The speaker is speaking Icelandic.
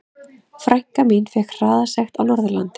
Frænka mín fékk hraðasekt á Norðurlandi.